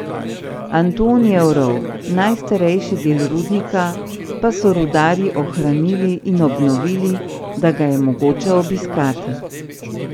Antonijev rov, najstarejši del rudnika, pa so rudarji ohranili in obnovili, da ga je mogoče obiskati.